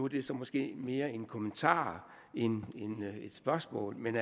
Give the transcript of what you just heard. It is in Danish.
det så måske mere en kommentar end et spørgsmål men